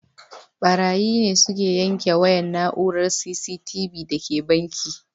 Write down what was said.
Ɓarayi ne suka yanke wayar na'urar C.C.T.V da ke banki